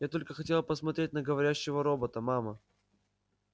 я только хотела посмотреть на говорящего робота мама